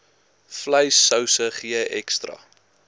vleissouse gee ekstra